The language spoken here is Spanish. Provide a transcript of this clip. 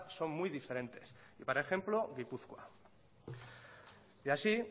son muy diferentes y para ejemplo gipuzkoa y así